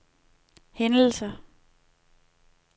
hændelser